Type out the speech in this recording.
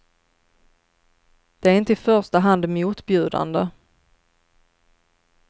Den är inte i första hand motbjudande.